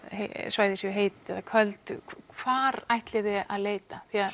svæði séu heit eða köld hvar ætlið þið að leita því